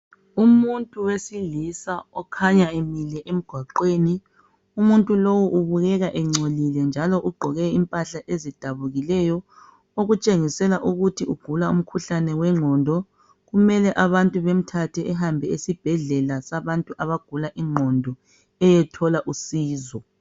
Umuntu wesilisa okhanya emile emgwaqweni. umuntu lowu ubukeka engcolile, njalo egqoke impahla ezidabukikeyo. Okukhanya ukuthi ugula umkhuhlane wengqondo. Kumele abantu bamuse esibhedlela, sabantu abagula ingqondo, ukuze ayethola usizo.